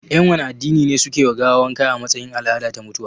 Yan wanne addini ne suke wa gawa wanka a matsayin al'ada ta mutuwa?